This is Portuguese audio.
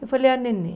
Eu falei, ah, neném.